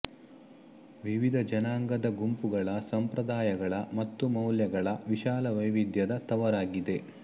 ವಿವಿಧ ಜನಾಂಗದ ಗುಂಪುಗಳ ಸಂಪ್ರದಾಯಗಳ ಮತ್ತು ಮೌಲ್ಯಗಳ ವಿಶಾಲ ವೈವಿಧ್ಯದ ತವರಾಗಿದೆ